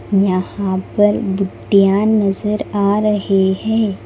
यहां पर गिट्टियां नजर आ रहे हैं।